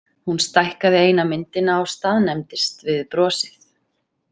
Hún stækkaði eina myndina og staðnæmdist við brosið.